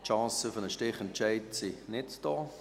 Die Chancen für einen Stichentscheid sind nicht gegeben.